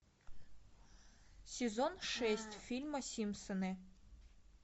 сезон шесть фильма симпсоны